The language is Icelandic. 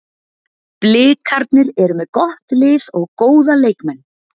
Blikarnir eru með gott lið og góða leikmenn.